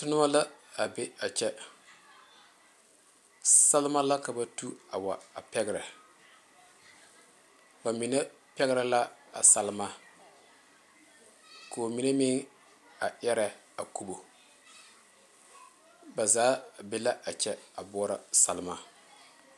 Noba la a be a kyɛ Selma la ka ba tu a wa a pɛgre bamine pɛgre la a selma ko'o mine meŋ erɛ a kubo ba zaa be la a kyɛ a boɔrɔ a selma.